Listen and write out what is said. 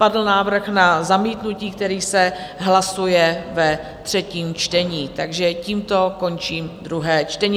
Padl návrh na zamítnutí, který se hlasuje ve třetím čtení, takže tímto končím druhé čtení.